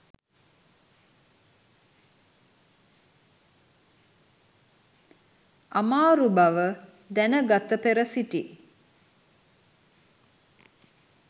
අමාරු බව දැනගත පෙර සිටි